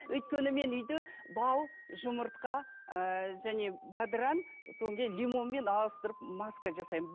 өйткені мен үйде бал жұмыртқа ы және бадыран содан кейін лимонмен араластырып маска жасаймын